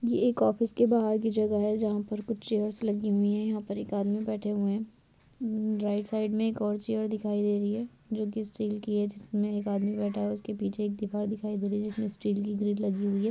ये एक ऑफिस के बाहर की जगह है जहां पर कुछ चेयर्स लगी हुई है यहाँ पर एक आदमी बैठे हुए है राईट साइड में एक और चेयर दिखाई दे रही है जो कि स्टील की है जिसमे एक आदमी बैठा हुआ उसके पीछे के दीवार दिखाई दे रही है जिसमे स्टील की ग्रील लगी हुई है।